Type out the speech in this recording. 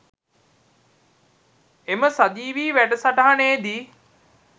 එම සජීවී වැඩසටහනේදී